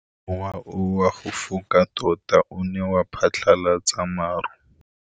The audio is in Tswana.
Mowa o wa go foka tota o ne wa phatlalatsa maru.